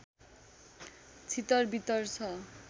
छितरवितर छ